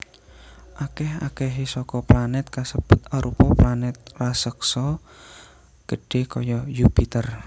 Akèh akèhé saka planèt kasebut arupa planèt raseksa gedhé kaya Yupiter